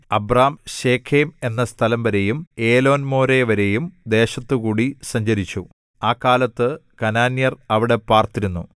Abram Shechem എന്ന സ്ഥലംവരെയും ഏലോൻമോരെവരെയും ദേശത്തുകൂടി സഞ്ചരിച്ചു ആ കാലത്ത് കനാന്യർ അവിടെ പാർത്തിരുന്നു